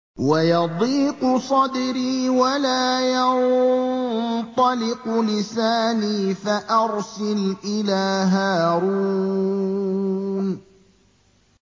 وَيَضِيقُ صَدْرِي وَلَا يَنطَلِقُ لِسَانِي فَأَرْسِلْ إِلَىٰ هَارُونَ